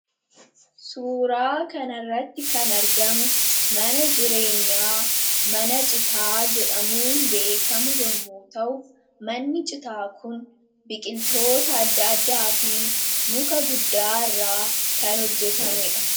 Suuraa kan irratti kan argamu mana jireenyaa mana citaa jedhamuun beekamu yommu ta'u, manni citaa kun biqiltoota adda addaa fi muka guddaa irra kan hojjetame dha.